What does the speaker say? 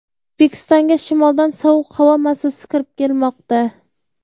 O‘zbekistonga shimoldan sovuq havo massasi kirib kelmoqda.